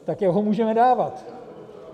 Tak jak ho můžeme dávat?